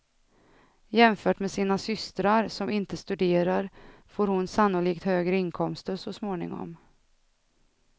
Jämfört med sina systrar, som inte studerar, får hon sannolikt högre inkomster så småningom.